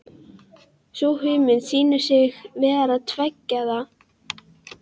Sú hugmynd sýnir sig vera tvíeggjaða.